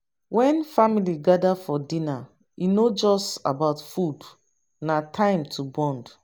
When family gather for dinner, e no just about food, na time to bond.